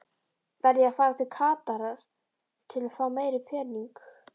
Verð ég að fara til Katar til fá meiri pening?